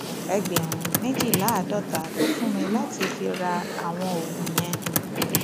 ẹgbẹrún méjìléláàádọta ló fún mi láti fi ra àwọn oògùn yẹn